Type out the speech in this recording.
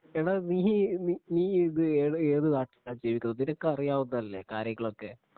എടാ നീ നീ ഇത് ഏത് ഏത് നാട്ടിലാ ജീവിക്കുന്നത് നിനക്ക് അറിയാവുന്നതല്ലേ കാര്യങ്ങളൊക്കെ